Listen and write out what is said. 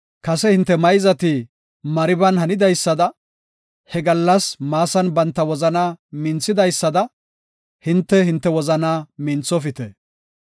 Kase hinte mayzati Mariban hanidaysada, he gallas Maasan banta wozanaa minthidaysada, hinte, hinte wozanaa minthofite.